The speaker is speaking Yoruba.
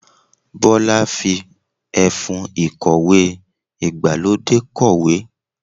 Bọ́lá fi ẹfun ìkọ̀wé ìgbàlódé kọ̀wé.